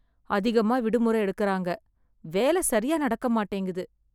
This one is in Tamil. அதிகமா விடுமுறை எடுக்குறாங்க. வேல சரியா நடக்க மாட்டேங்குது.